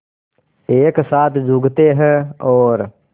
एक साथ झुकते हैं और